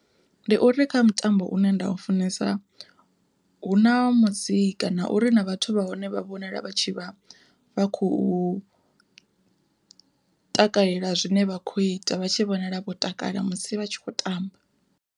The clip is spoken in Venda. Ndi uri kha mutambo une nda u funesa hu na musi kana ure na vhathu vha hone vha vhonala vha tshi khou takalela zwine vha kho ita vha tshi vhonala vho takala musi vha tshi khou tamba.